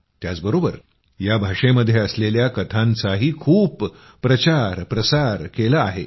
त्याचबरोबर या भाषेमध्ये असलेल्या कथांचाही खूप प्रचार प्रसार केला आहे